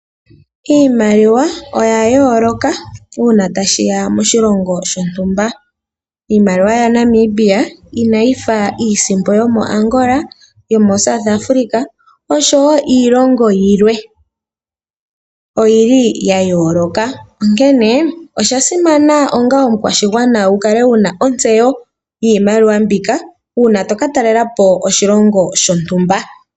Iimaliwa oya yooloka uuna tashi ya moshilongo shontumba. IimaliwayaNamibia inayi fa iisimpo yomoAngola, South Afrika oshowo iilongo yilwe. Oya yooloka, onkene osha simana onga omukwashigwana wu kale wu na ontseyo yiimaliwa mbika, uuna to ka talela po oshilongo shontumba.